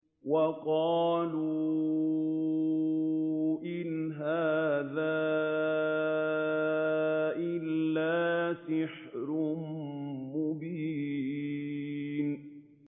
وَقَالُوا إِنْ هَٰذَا إِلَّا سِحْرٌ مُّبِينٌ